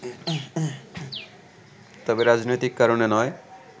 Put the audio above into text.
তবে রাজনৈতিক কারণে নয়